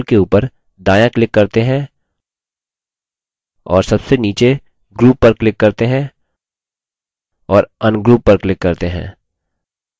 अतः चलिए label के उपर दायाँ click करते हैं और सबसे नीचे group पर click करते हैं और ungroup पर click करते हैं